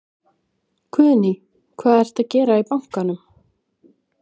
Guðný: Hvað ertu að gera í bankann?